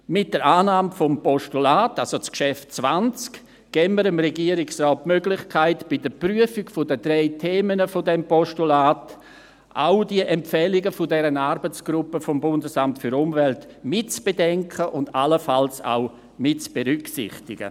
Mit der Annahme des Postulats, also des Traktandums 20, geben wir dem Regierungsrat die Möglichkeit, bei der Prüfung der drei Themen dieses Postulats auch die Empfehlungen dieser Arbeitsgruppe des BAFU mitzubedenken und allenfalls auch mitzuberücksichtigen.